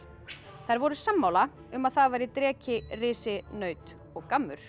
þær voru sammála um að það væri risi naut og